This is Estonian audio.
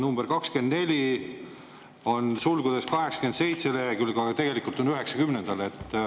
Number 24 kohta on sulgudes 87. lehekülg, aga tegelikult on 90.